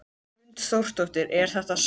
Hrund Þórsdóttir: Er þetta sárt?